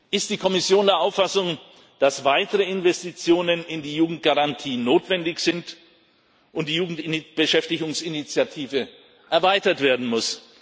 Ist die Kommission der Auffassung, dass weitere Investitionen in die Jugendgarantie notwendig sind und die Jugendbeschäftigungsinitiative erweitert werden muss?